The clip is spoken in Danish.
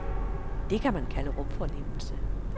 Det kan man kalde rumfornemmelse.